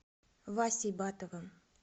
васей батовым